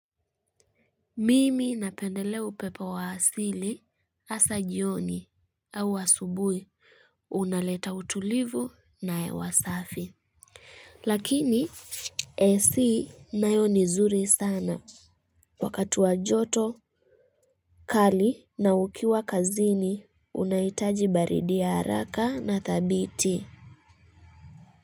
Mimi napendelea upepo wa asili hasa jioni au asubui unaleta utulivu na hewa safi. Lakini ac leo ni zuri sana wakati wa joto kali na ukiwa kazini unaitaji baridi ya haraka na thabiti.